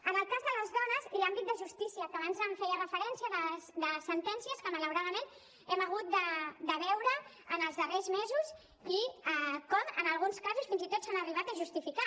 en el cas de les dones i l’àmbit de justícia que abans hi feia referència a sentències que malauradament hem hagut de veure en els darrers mesos i com en alguns casos fins i tot s’han arribat a justificar